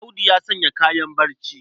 Audu ya sanya kayan barci.